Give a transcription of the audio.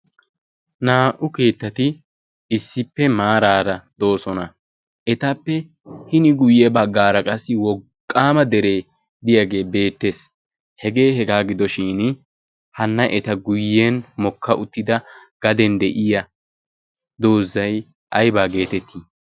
naa"u keettati issippe maaraara doosona. etappe hini guyye baggaara qassi woqqaama deree diyaagee beettees hegee hegaa gidoshin hanna eta guyyen mokka uttida gaden de'iya doozzay aybaa geetettii?